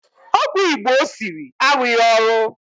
Ọgwụ Igbo o siri arụghị ọrụ